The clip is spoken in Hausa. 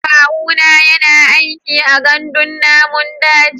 Kawuna yana aiki a gandun namun daji.